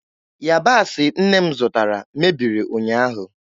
Yabasị nne m zụtara mebiri ụnyaahụ.